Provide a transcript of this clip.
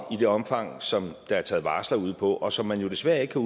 i det omfang som der er taget varsler ud på og som man jo desværre ikke